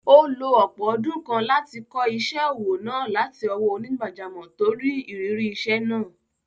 Ó lo ọ̀pọ̀ ọdún kan láti kọ́ isẹ́ òwò náà láti ọwọ́ onígbàjámọ̀ tó ní ìrírí iṣẹ́ náà.